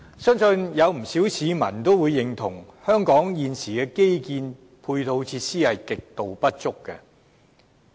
相信不少市民也會認同，香港現時的基建配套設施極度不足。